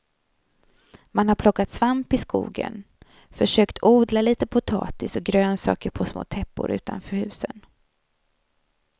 Man har plockat svamp i skogen, försökt odla litet potatis och grönsaker på små täppor utanför husen.